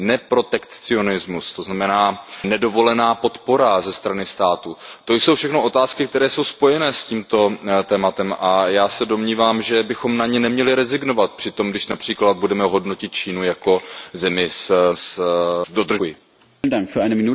Protekcionalismus, to znamená nedovolená podpora ze strany státu, to jsou všechno otázky, které jsou spojené s tímto tématem, a já se domnívám, že bychom na ně neměli rezignovat při tom, když například budeme hodnotit Čínu jako zemi s dodržováním těchto standardů.